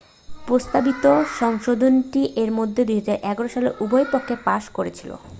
প্রস্তাবিত সংশোধনীটি এর মধ্যে 2011 সালে উভয় পক্ষেই পাশ করেছে